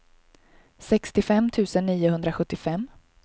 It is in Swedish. sextiofem tusen niohundrasjuttiofem